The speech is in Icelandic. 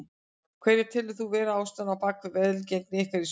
Hverja telur þú vera ástæðuna á bakvið velgengni ykkar í sumar?